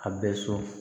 A bɛ sɔn